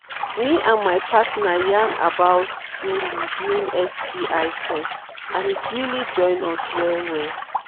me and my partner yarn about truely doing sti test and it relly join us well well